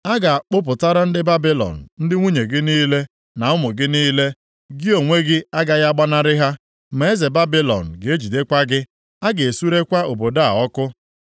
“A ga-akpụpụtara ndị Babilọn ndị nwunye gị niile na ụmụ gị niile. Gị onwe gị agaghị agbanarị ha, ma eze Babilọn ga-ejidekwa gị, a ga-esurekwa obodo a ọkụ.”